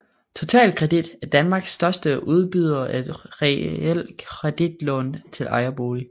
Totalkredit er Danmarks største udbyder af realkreditlån til ejerboliger